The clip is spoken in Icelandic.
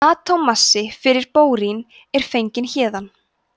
atómmassi fyrir bórín er fenginn héðan